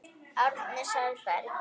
Árni Sæberg